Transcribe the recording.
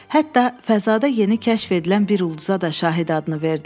Hətta fəzada yeni kəşf edilən bir ulduza da Şahid adını verdilər.